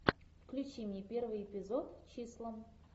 включи мне первый эпизод числа